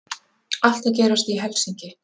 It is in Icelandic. Allt að gerast í Helsinki!